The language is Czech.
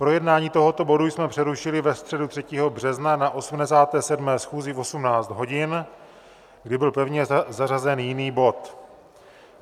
Projednání tohoto bodu jsme přerušili ve středu 3. března na 87. schůzi v 18 hodin, kdy byl pevně zařazen jiný bod.